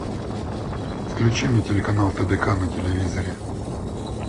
включи мне телеканал тдк на телевизоре